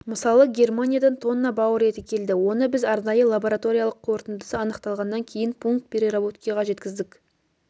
мысалы германиядан тонна бауыр еті келді оны біз арнайы лабораториялық қорытындысы анықталғаннан кейін пункт переработкиға жеткіздік